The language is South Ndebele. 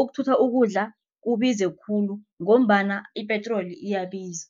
ukuthutha ukudla kubize khulu ngombana ipetroli iyabiza.